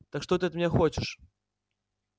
так что ты от меня хочешь